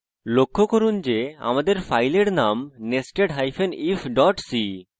লক্ষ্য করুন যে আমাদের file name nestedif c